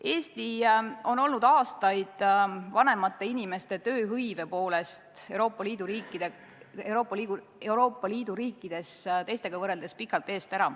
Eesti on olnud aastaid vanemate inimeste tööhõive poolest Euroopa Liidu riikide hulgas teistest pikalt ees.